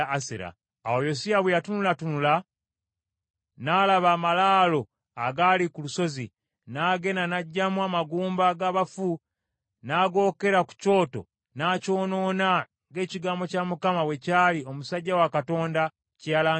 Awo Yosiya bwe yatunulatunula, n’alaba amalaalo agaali ku lusozi, n’agenda n’aggyamu amagumba g’abafu n’agokera ku kyoto n’akyonoona, ng’ekigambo kya Mukama bwe kyali omusajja wa Katonda kye yalangirira.